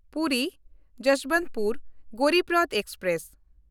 ᱯᱩᱨᱤ–ᱡᱚᱥᱵᱚᱱᱛᱯᱩᱨ Garib Rath express